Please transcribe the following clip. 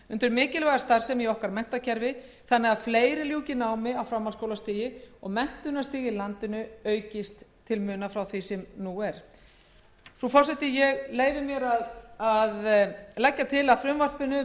undir mikilvæga starfsemi í okkar menntakerfi þannig að fleiri ljúki námi á framhaldsskólastigi og menntunarstig í landinu aukist ég leyfi mér að lokum að leggja til að frumvarpinu verði að